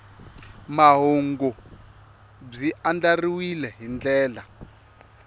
mahungu byi andlariwile hi ndlela